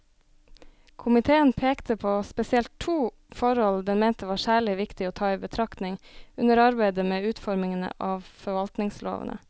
Komiteen pekte på spesielt to forhold den mente var særlig viktig å ta i betraktning under arbeidet med utformingen av forvaltningslovene.